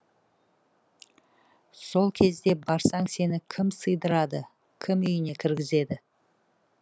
сол кезде барсаң сені кім сыйдырады кім үйіне кіргізеді